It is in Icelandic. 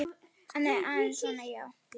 Aðeins svona, jú.